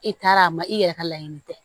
I taara a ma i yɛrɛ ka laɲini tɛ